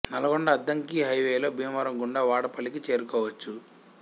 నల్గొండ అద్దంకి హై వేలో భీమవరం గుండా వాడపల్లికి చేరుకోవచ్చు